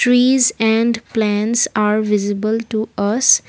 trees and plants are visible to us.